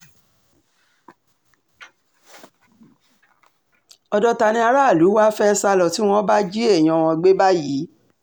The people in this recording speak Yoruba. ọ̀dọ̀ ta ni àràlù wàá fẹ́ẹ́ sá lọ tí wọ́n bá jí èèyàn wọn gbé báyìí